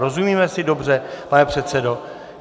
Rozumíme si dobře, pane předsedo?